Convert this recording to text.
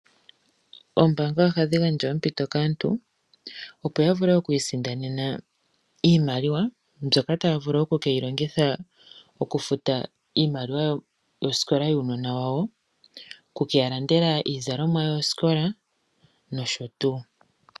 Oombanga ohadhi gandja ompito kaantu opo ya vule okwisindanena iimaliwa mbyoka taya vulu okukeyi longitha okufuta iimaliwa yosikola yuunona wawo, okukeya landela iizalomwa yosikola nosho tuu.